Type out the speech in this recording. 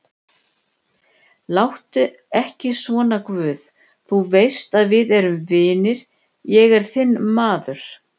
Láttu ekki svona guð, þú veist að við erum vinir, ég er þinn maður.